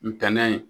Ntɛnɛn